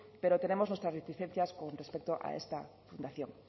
pero tenemos nuestras reticencias con respecto a esta fundación